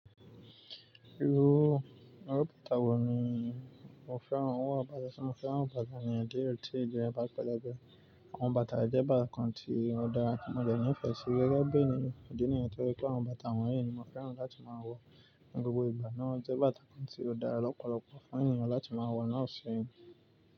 Irú irú bàtà wò ní mo fẹ́ràn? Awọ́n ò báta ti mo fẹ́ràn bàtà ènìyàn diédie ọ̀tí ìjẹ́rẹ́ báta pẹ́lẹ́bẹ́. Àwọn bàtà jẹ́ bàtà kan tí ó dára kí mo de ní ìfẹ́ sí rẹ́gẹ́bí ni idí nìyẹn toje pé àwọn bàtà wọ̀nyí ni mo fẹ́ràn láti máa wọ̀. Ni gbogbo ìgbà náà jẹ́ bàtà kan tí ó dára lọ́pọ̀lọpọ̀ fún ènìyàn láti máa wọ̀ láti ṣe irun.